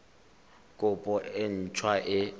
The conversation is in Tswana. kopo e nt hwa e